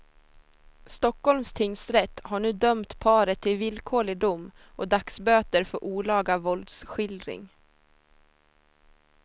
Stockholms tingsrätt har nu dömt paret till villkorlig dom och dagsböter för olaga våldsskildring.